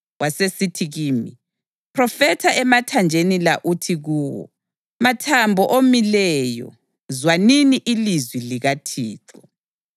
Wasesithi kimi, “Phrofetha emathanjeni la uthi kuwo, ‘Mathambo omileyo, zwanini ilizwi likaThixo!